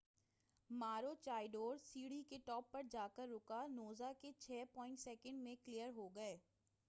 Maroochydore سیڑھی کے top پر جا کر رکا نوزا کے چھے پوائنٹ سیکنڈ میں کلیر ہو گئے